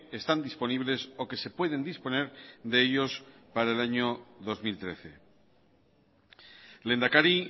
están disponibles o que se pueden disponer de ellos para el año dos mil trece lehendakari